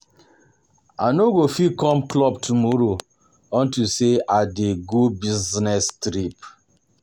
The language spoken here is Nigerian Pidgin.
I no go fit come club tomorrow unto say I dey go business trip